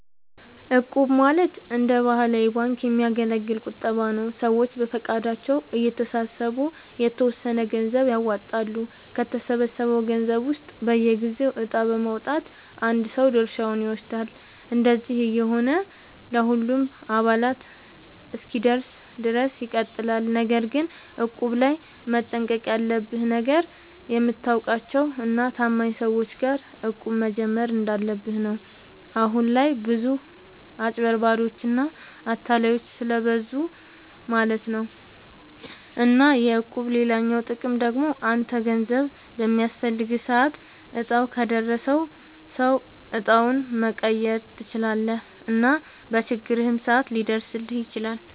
እቁብ ማለት እንደ ባህላዊ ባንክ የሚያገለግል ቁጠባ ነዉ። ሰዎች በፈቃደኝነት እየተሰባሰቡ የተወሰነ ገንዘብ ያዋጣሉ፣ ከተሰበሰበው ገንዘብ ውስጥ በየጊዜው እጣ በማዉጣት አንድ ሰው ድርሻውን ይወስዳል። እንደዚህ እየሆነ ለሁሉም አባላት እስኪደርስ ድረስ ይቀጥላል። ነገር ግን እቁብ ላይ መጠንቀቅ ያለብህ ነገር፣ የምታውቃቸው እና ታማኝ ሰዎች ጋር እቁብ መጀመር እንዳለብህ ነው። አሁን ላይ ብዙ አጭበርባሪዎች እና አታላዮች ስለብዙ ማለት ነው። እና የእቁብ ሌላኛው ጥቅም ደግሞ አንተ ገንዘብ በሚያስፈልግህ ሰዓት እጣው ከደረሰው ሰው እጣውን መቀየር ትችላለህ እና በችግርህም ሰዓት ሊደርስልህ ይችላል።